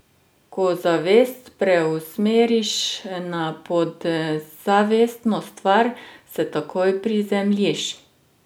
Ko zavest preusmeriš na podzavestno stvar, se takoj prizemljiš.